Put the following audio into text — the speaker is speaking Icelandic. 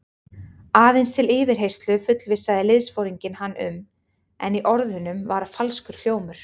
Aðeins til yfirheyrslu fullvissaði liðsforinginn hann um, en í orðunum var falskur hljómur.